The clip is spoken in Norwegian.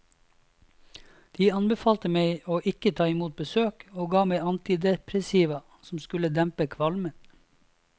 De anbefalte meg å ikke ta imot besøk, og ga meg antidepressiva som skulle dempe kvalmen.